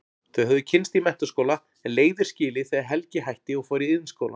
Þau höfðu kynnst í menntaskóla en leiðir skilið þegar Helgi hætti og fór í Iðnskólann.